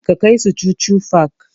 Ka kai su chuchu park!